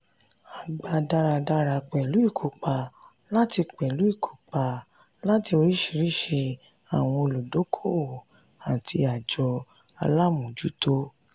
a gbà dáradára pẹ̀lú ìkópa láti pẹ̀lú ìkópa láti oríṣiríṣi àwọn òludókòowò àti àjọ alámòjútó.